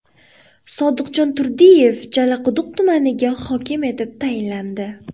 Sodiqjon Turdiyev Jalaquduq tumaniga hokim etib tayinlandi.